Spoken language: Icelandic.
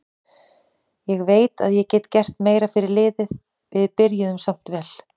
Ég veit að ég get gert meira fyrir liðið, við byrjuðum samt vel.